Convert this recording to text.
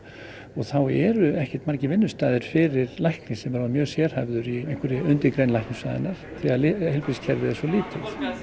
þá eru ekkert margir vinnustaðir fyrir lækni sem er orðinn mjög sérhæfður í undirgrein læknisfræðinnar því að heilbrigðiskerfið er svo lítið